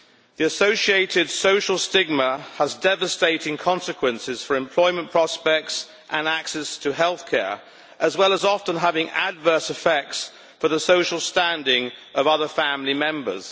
The associated social stigma has devastating consequences for employment prospects and access to health care, as well as often having adverse effects for the social standing of other family members.